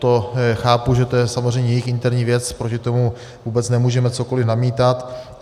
To chápu, že to je samozřejmě jejich interní věc, proti tomu vůbec nemůžeme cokoliv namítat.